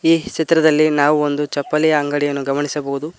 ಈ ಚಿತ್ರದಲ್ಲಿ ನಾವೊಂದು ಚಪ್ಪಲಿಯ ಅಂಗಡಿಯನ್ನು ಗಮನಿಸಬಹುದು.